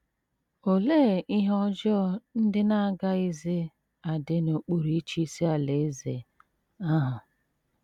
Olee ihe ọjọọ ndị na - agaghịzi adị n’okpuru ịchịisi Alaeze ahụ?